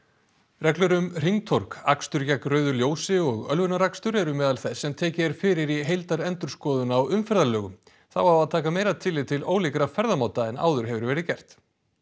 reglur um hringtorg akstur gegn rauðu ljósi og ölvunarakstur eru á meðal þess sem tekið er fyrir í heildarendurskoðun á umferðarlögum þá á að taka meira tillit til ólíkra ferðamáta en áður hefur verið gert